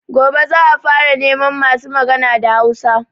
Gobe za a fara neman masu magana da Hausa